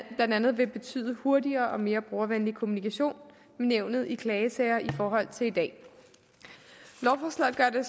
andet vil betyde hurtigere og mere brugervenlig kommunikation med nævnet i klagesager i forhold til i dag lovforslaget gør det